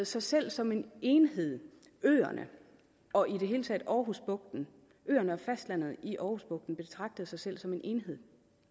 sig selv som en enhed øerne og i det hele taget aarhusbugten øerne og fastlandet i aarhusbugten betragtede sig selv som en enhed